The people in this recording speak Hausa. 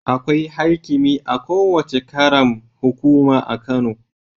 Akwai haikimi a kowace ƙaram hukuma a Kano